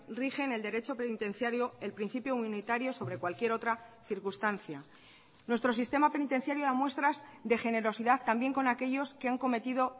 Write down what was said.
rigen el derecho penitenciario el principio unitario sobre cualquier otra circunstancia nuestro sistema penitenciario da muestras de generosidad también con aquellos que han cometido